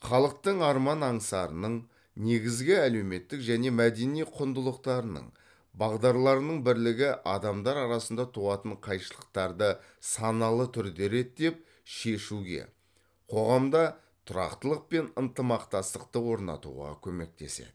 халықтың арман аңсарының негізгі әлеуметтік және мәдени құндылықтарының бағдарларының бірлігі адамдар арасында туатын қайшылықтарды саналы түрде реттеп шешуге қоғамда тұрақтылық пен ынтымақтастықты орнатуға көмектеседі